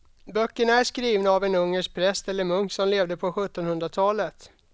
Böckerna är skrivna av en ungersk präst eller munk som levde på sjuttonhundratalet.